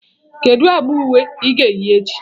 Kedu agba uwe ị ga-eyi echi?